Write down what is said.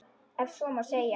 Ef svo má segja.